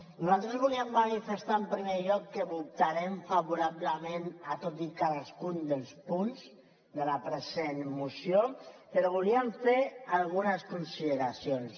nosaltres volíem manifestar en primer lloc que votarem favorablement a tots i cadascun dels punts de la present moció però voldríem fer algunes consideracions